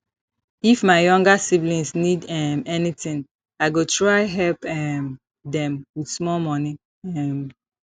if my younger siblings need um anything i go try help um them with small money um